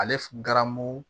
Ale f garamu